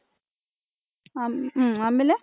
ಆಮೇಲೆ .